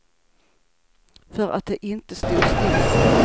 För att det inte stod stilla.